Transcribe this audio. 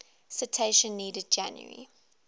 citation needed january